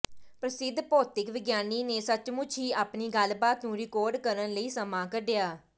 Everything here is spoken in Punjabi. ਪ੍ਰਸਿੱਧ ਭੌਤਿਕ ਵਿਗਿਆਨੀ ਨੇ ਸੱਚਮੁੱਚ ਹੀ ਆਪਣੀ ਗੱਲਬਾਤ ਨੂੰ ਰਿਕਾਰਡ ਕਰਨ ਲਈ ਸਮਾਂ ਕੱਢਿਆ